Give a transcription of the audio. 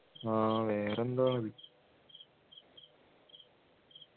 ആഹ് വേറെ എന്തോ ആണ്